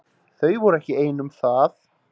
Þau voru ekki ein um það.